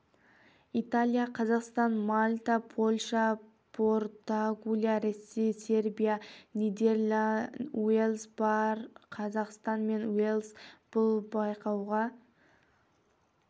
италия қазақстан мальта польша португалия ресей сербия нидерланды уэльс бар қазақстан мен уэльс бұл байқауға